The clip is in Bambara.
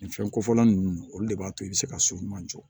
Nin fɛnko fɔla ninnu olu de b'a to i bɛ se ka so ɲuman jɔ